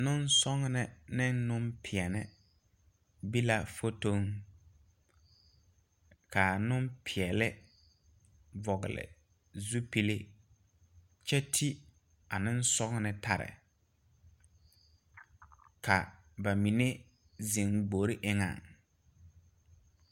Neŋsɔgnè neŋpeɛle be la fotoŋ kaa neŋpeɛɛle vɔgle zupile kyɛ ti a neŋsɔgnè taa lɛ ka ba mine zeŋ gbore eŋɛŋ.